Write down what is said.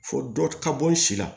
Fo dɔ ka bɔ n si la